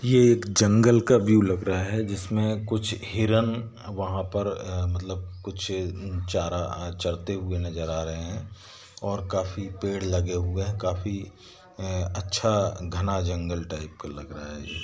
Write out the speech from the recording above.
यह एक जंगल का व्यू लग रहा है जिसमें कुछ हिरण वहां पर अ मतलब कुछ चारा अ चरते हुए नजर अ रहे है और काफी पेड़ लगे हुए है काफी अ-अच्छा घना जंगल टाइप का लग रहा है ये---